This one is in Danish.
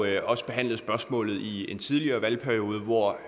jo også behandlet spørgsmålet i en tidligere valgperiode hvor